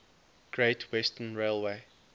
great western railway